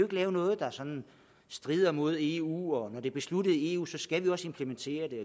lave noget der sådan strider mod eu og når det er besluttet i eu skal vi også implementere det